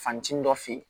Fantini dɔ fe yen